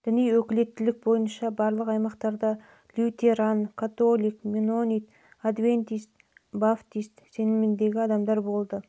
діни өкілеттілік бойынша барлық аймақтарда лютеран католик менонит адвентист баптист сеніміндегі адамдар болды